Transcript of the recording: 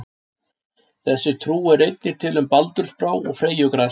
Þessi trú er einnig til um baldursbrá og freyjugras.